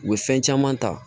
U bɛ fɛn caman ta